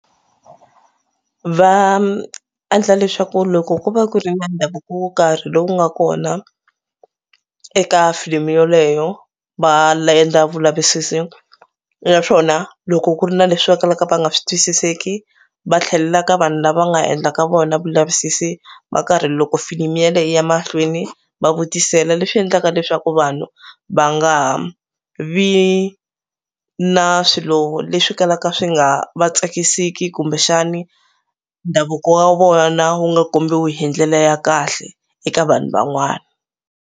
Va endla leswaku loko ku va ku ri na ndhavuko wo karhi lowu nga kona eka filimi yoleyo va endla vulavisisi naswona loko ku ri na leswi va kalaka va nga swi twisiseki va tlhelela ka vanhu lava nga endla ka vona vulavisisi va karhi loko filimi yaleyo yiya mahlweni va vutisela leswi endlaka leswaku vanhu va nga vi na swilo leswi kalaka swi nga va tsakisiki kumbexani ndhavuko wa vona wu nga kombiwe hi ndlela ya kahle eka vanhu van'wana.